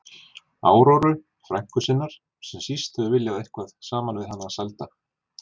Áróru, frænku sinnar, sem síst hefur viljað eiga eitthvað saman við hann að sælda.